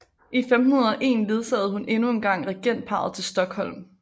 I 1501 ledsagede hun endnu en gang regentparret til Stockholm